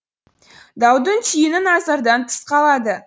даудың түйіні назардан тыс қалады